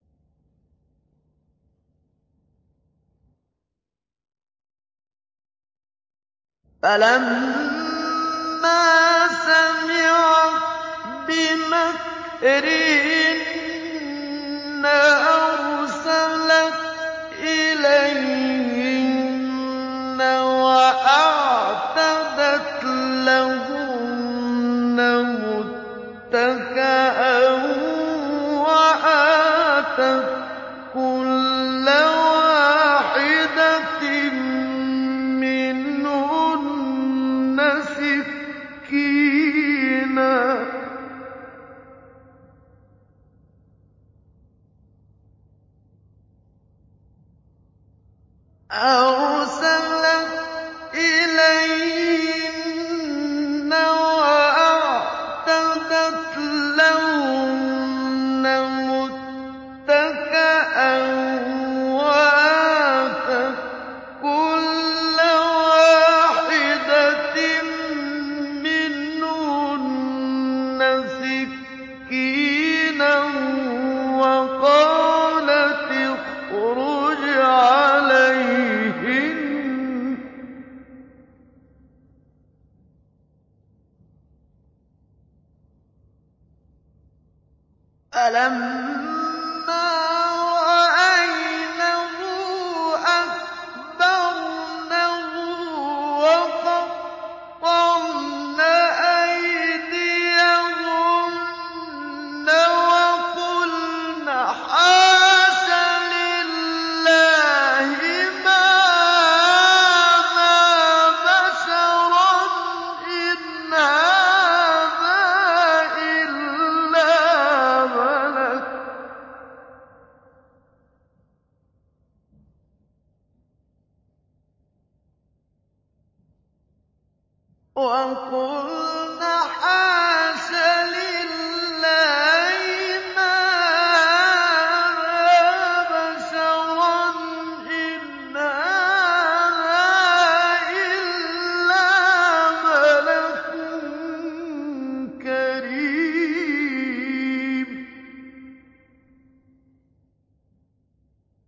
فَلَمَّا سَمِعَتْ بِمَكْرِهِنَّ أَرْسَلَتْ إِلَيْهِنَّ وَأَعْتَدَتْ لَهُنَّ مُتَّكَأً وَآتَتْ كُلَّ وَاحِدَةٍ مِّنْهُنَّ سِكِّينًا وَقَالَتِ اخْرُجْ عَلَيْهِنَّ ۖ فَلَمَّا رَأَيْنَهُ أَكْبَرْنَهُ وَقَطَّعْنَ أَيْدِيَهُنَّ وَقُلْنَ حَاشَ لِلَّهِ مَا هَٰذَا بَشَرًا إِنْ هَٰذَا إِلَّا مَلَكٌ كَرِيمٌ